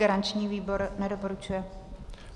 Garanční výbor nedoporučuje.